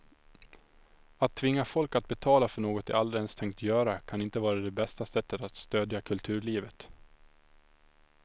Att tvinga folk att betala för något de aldrig ens tänkt göra kan inte vara det bästa sättet att stödja kulturlivet.